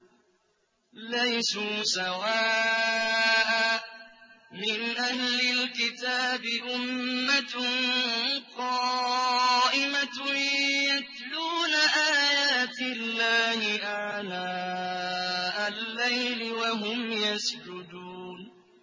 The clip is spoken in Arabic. ۞ لَيْسُوا سَوَاءً ۗ مِّنْ أَهْلِ الْكِتَابِ أُمَّةٌ قَائِمَةٌ يَتْلُونَ آيَاتِ اللَّهِ آنَاءَ اللَّيْلِ وَهُمْ يَسْجُدُونَ